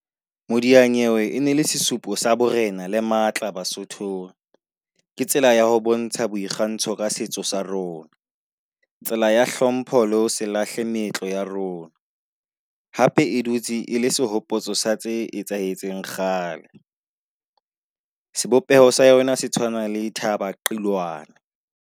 Modianyewe e ne e le sesupo sa borena le matla basothong, ke tsela ya ho bontsha boikgantsho ka setso sa rona. Tsela ya hlompho le ho se lahle meetlo ya rona, hape e dutse e le sehopotso sa tse etsahetseng kgale, sebopeho sa yona se tshwana le thaba qilwane.